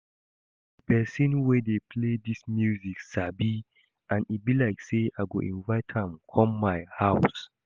The person wey dey play dis music sabi and e be like say I go invite am come my house